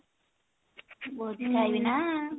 ଭୋଜି ଖାଇବିନା